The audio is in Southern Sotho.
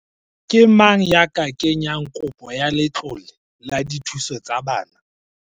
Ke mang ya ka kenyang kopo ya letlole la dithuso tsa bana?